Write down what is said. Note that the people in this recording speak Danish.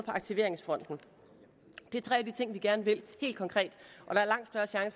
aktiveringsfronten det er tre af de ting vi gerne vil helt konkret